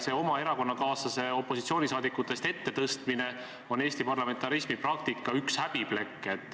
Oma erakonnakaaslase opositsiooniliikmetest ettepoole tõstmine on Eesti parlamentarismi praktikas üks häbiplekk.